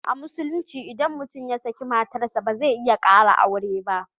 A Musulunci idan mutum ya saki matar sa ba zai iya kara aure ba.